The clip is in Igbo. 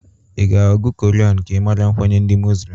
I ga-agụ koran ka ị mara nkwenye ndị Moslem?